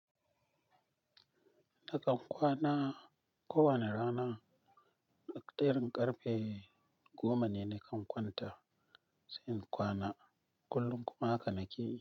Nakan kwana kowane rana, daƙiƙayin ƙarfe goma ne nakan kwanta, sai in kwana. Kullum kuma haka nake yi.